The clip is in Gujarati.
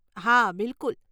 હા, બિલકુલ.